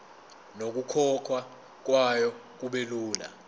nokukhokhwa kwayo kubelula